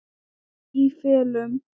Í felum.